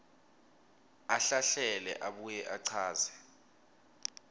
ahlahlele abuye achaze